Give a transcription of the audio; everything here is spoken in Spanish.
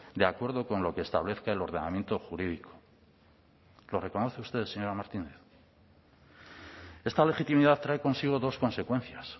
de acuerdo con lo que establezca el ordenamiento jurídico lo reconoce usted señora martínez esta legitimidad trae consigo dos consecuencias